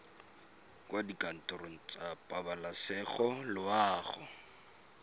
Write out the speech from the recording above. kwa dikantorong tsa pabalesego loago